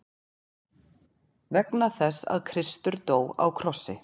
Vegna þess að Kristur dó á krossi.